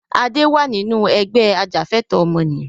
Adé wá nínú Ẹgbẹ́ ajàfẹ̀tọ̀ ọmọnìyàn